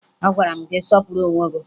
Agwara m gị sọpụrụ onwe gị!